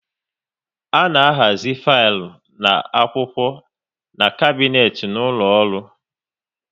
A na ahazi filu na akwụkwọ n'kabnet n'ụlọ ọrụ